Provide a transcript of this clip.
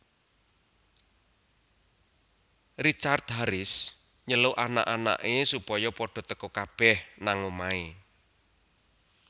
Richard Harris nyeluk anak anak e supaya padha teka kabeh nang omahe